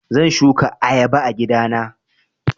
Zan shuka ayaba a gida na.